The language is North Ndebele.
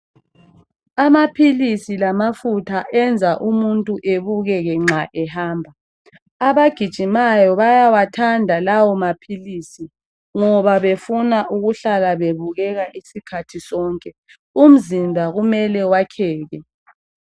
Amaphilisi lamafutha enza umuntu ebukeke nxa ehamba. Abagijimayo bayawathanda lawo maphilisi ngoba befuna ukuhlala bebukeka isikhathi sonke. Umzimba kumele wakheke.